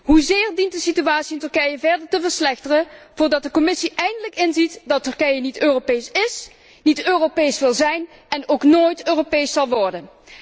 Hoezeer dient de situatie in Turkije verder te verslechteren, voordat de Commissie eindelijk inziet dat Turkije niet Europees ís, niet Europees wil zijn en ook nooit Europees zal worden?